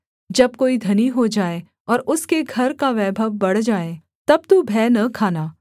जब कोई धनी हो जाए और उसके घर का वैभव बढ़ जाए तब तू भय न खाना